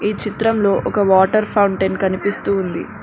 ఈ చిత్రంలో ఒక వాటర్ ఫౌంటెన్ కనిపిస్తూ ఉంది.